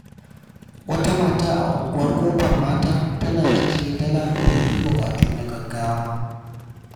Wata mata a Unguwar Kofar Mata tana ajiye dala domin bukatu na gaggawa.